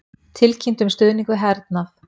Tilkynntu um stuðning við hernað